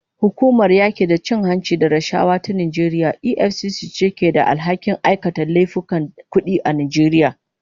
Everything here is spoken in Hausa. Hukumar yaki da cin hanci da rashawa ta Najeriya EFCC ce ke da alhakin aikata laifukan kudi a Najeriya.